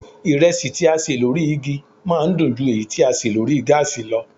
Ìrẹsì tí a ṣè lórí igi máa ń dùn ju èyí tí a ṣe lórí gáàsì lọ